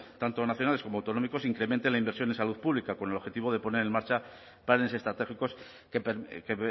tanto nacionales como autonómicos incrementen la inversión en salud pública con el objetivo de poner en marcha planes estratégicos que